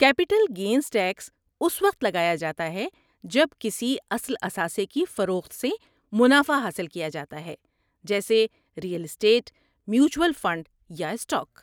Capital gains tax اس وقت لگایا جاتا ہے جب کسی اصل اثاثے کی فروخت سے منافع حاصل کیا جاتا ہے جیسے ریئل اسٹیٹ، میوچول فنڈ یا اسٹاک۔